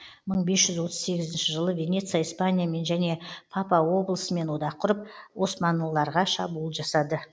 мың бес жүз отыз сегізінші жылы венеция испаниямен және папа облысымен одақ құрып османлыларға шабуыл жасады